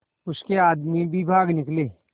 उसके आदमी भी भाग निकले